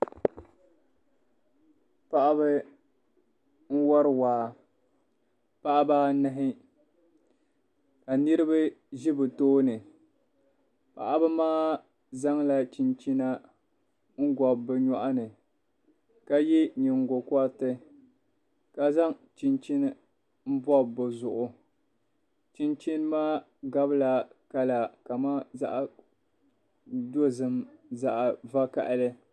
Paɣiba n-wari waa paɣiba anahi ka niriba ʒi bɛ tooni paɣiba maa zaŋla chinchina n-gɔbi bɛ nyɔɣu ni ka ye nyingokɔriti ka zaŋ chinchini bɔbi bɛ zuɣu chinchini maa gabila kala kamani zaɣ'dozim zaɣ'vakahili.